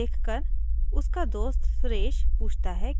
वो रस्ते में अपने दोस्त से मिलता है